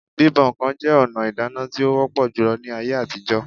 Bíbọ̀ ǹkan jẹ́ ọ̀nà ìdáná tí ó wọ́pọ̀ júlọ ní ayé àtijọ́